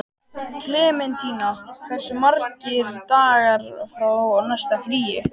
Klementína, hversu margir dagar fram að næsta fríi?